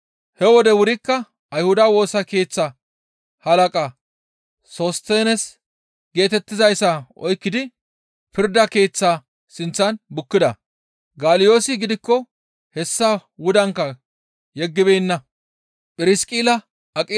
He wode wurikka Ayhuda Woosa Keeththa halaqa Sostineese geetettizayssa oykkidi pirda keeththaa sinththan bukkida; Galyoosi gidikko hessa wudankka yeggibeenna.